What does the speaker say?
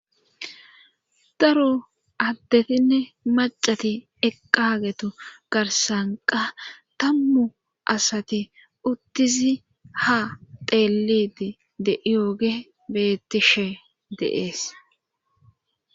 Daro addetinne macati eqqagetu garsanqa tammu asati uttisi ha teeliti de7iyooge bettishe deees.